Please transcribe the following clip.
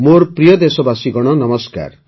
ମୋର ପ୍ରିୟ ଦେଶବାସୀଗଣ ନମସ୍କାର